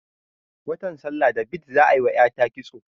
Wata sallar da bid za ayi wa ƴata kitso